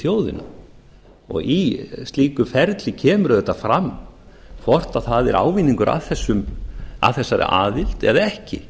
þjóðina í slíku ferli kemur auðvitað fram hvort það er ávinningur að þessari aðild eða ekki